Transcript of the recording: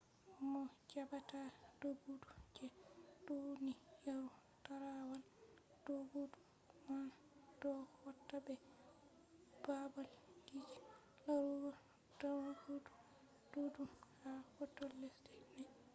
mo jabata doggudu je duniyaru tarawal doggudu man do hauta be baabalji larugo doggudu duddum ha hautol lesde nai